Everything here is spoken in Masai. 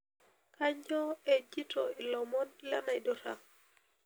kanyoo ejito iilomon le naidurra